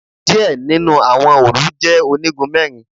Díẹ̀ nínú àwọn òòlù je onígun mẹ́rin